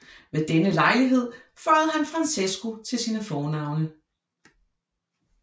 Ved denne lejlighed føjede han Francesco til sine fornavne